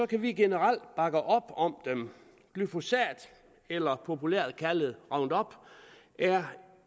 kan vi generelt bakke op om dem glyphosat eller populært kaldet roundup er